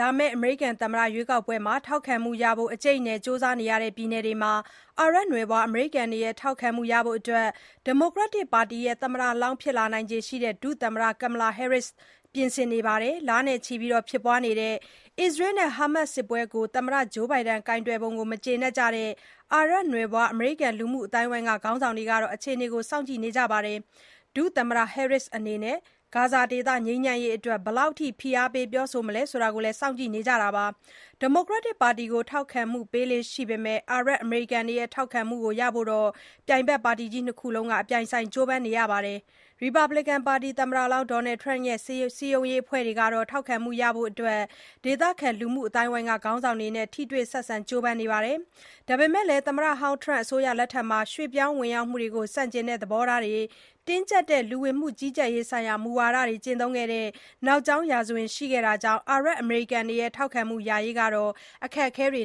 လာမယ့် အမေရိကန်သမ္မတ ရွေးကောက်ပွဲမှာ ထောက်ခံမှုရဖို့ အကြိတ်အနယ် ကြိုးစားနေရတဲ့ ပြည်နယ်တွေမှာ အာရပ်နွယ်ဖွား အမေရိကန်တွေရဲ့ ထောက်ခံမှုရဖို့ ဒီမိုကရက်တစ်ပါတီ သမ္မတလောင်း ဖြစ်လာနိုင်ခြေရှိတဲ့ ဒုသမ္မတ Kamala Harris ကပြင်ဆင် နေပါတယ်။ လနဲ့ချီဖြစ်ပွားနေတဲ့ အစ္စရေးနဲ့ ဟာမတ်စ် စစ်ပွဲအပေါ် သမ္မတ Joe Biden ကိုင်တွယ်ပုံကို မကျေနပ်ကြတဲ့ အာရပ်နွယ်ဖွာ အမေရိကန် လူမှုအသိုင်းအဝိုင်းက ခေါင်းဆောင်တွေကတော့ အခြေအနေကို စောင့်ကြည့်နေကြတာပါ။ ဒုသမ္မတ Harris အနေနဲ့ ဂါဇာဒေသ ငြိမ်းချမ်းရေးအတွက် ဘယ်လောက်အထိ ဖိအားပေး ပြောဆိုမလဲ ဆိုတာကိုလည်း စောင့်ကြည့်နေကြပါတယ်။ ဒီမိုကရက်တစ်ပါတီကို ထောက်ခံမှု ပေးလေ့ရှိပေမဲ့ အာရပ်၊ အမေရိကန်တွေရဲ့ ထောက်ခံမဲတွေ ရဖို့လည်း ပြိုင်ဖက်ပါတီကြီး ၂ ခုလုံးက ကြိုးပမ်းနေကြတာပါ။ ရီပတ်ဘလစ်ကန်ပါတီ သမ္မတလောင်း Donald Trump ရဲ့ စည်းရုံးရေးအဖွဲ့ကတော့ ထောက်ခံမှုရဖို့ ဒေသခံ လူမှုအသိုင်းအဝိုင်းက ခေါင်းဆောင်တွေနဲ့ ထိတွေ့ဆက်ဆံ ကြိုးပမ်းနေပါတယ်။ ဒါပေမဲ့လည်း သမ္မတဟောင်း ထရမ့် အစိုးရလက်ထက်မှာ ရွှေ့ပြောင်းဝင်ရောက်မှုတွေကို ဆန့်ကျင်တဲ့ သဘောထားတွေ၊ တင်းကြပ်တဲ့ လူဝင်မှုကြီးကြပ်ရေးဆိုင်ရာ မူဝါဒတွေ ကျင့်သုံးခဲ့တဲ့ နောက်ကြောင်းရာဇဝင် ရှိခဲ့တာကြောင့် အာရပ်၊ အမေရိကန်တွေရဲ့ ထောက်ခံမှုရရေး အခက်အခဲတွေ